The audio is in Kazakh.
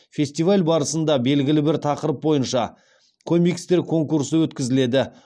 фестиваль барысында белгілі бір тақырып бойынша комикстер конкурсы өткізіледі